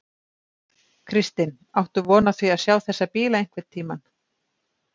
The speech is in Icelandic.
Kristinn: Áttu von á því að sjá þessa bíla einhvern tímann?